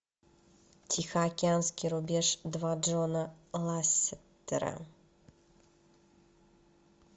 тихоокеанский рубеж два джона ласстера